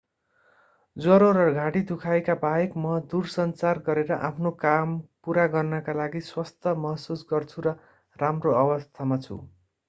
ज्वरो र घाँटी दुखाइका बाहेक म दूरसञ्चार गरेर आफ्नो काम पूरा गर्नका लागि स्वस्थ महसुस गर्छु र राम्रो अवस्थामा छु